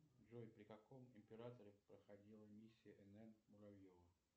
джой при каком императоре проходила миссия нн муравьева